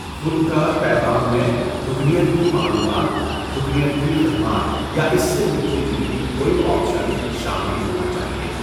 خودکار پیغام میں 'رکنیت کی معلومات'، 'رکنیت کی خدمات'، یا اس سے ملتی جلتی کوئی آپشن شامل ہونا چاہیے۔